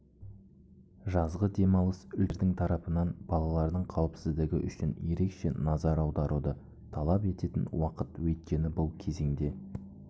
жазғы демалыс үлкендердің тарапынан балалардың қауіпсіздігі үшін ерекше назар аударуды талап ететін уақыт өйткені бұл кезеңде